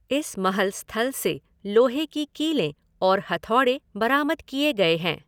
इस महल स्थल से लोहे की कीलें और हथौड़े बरामद किए गए हैं।